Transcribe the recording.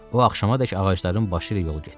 O axşamadək ağacların başı ilə yol getdi.